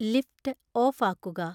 lift off ആക്കുക